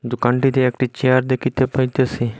দোকানটিতে একটি চেয়ার দেখিতে পাইতেসি।